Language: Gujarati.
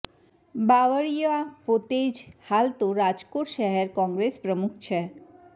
બાવળીયા પોતે જ હાલ તો રાજકોટ શહેર કોંગ્રેસ પ્રમુખ છે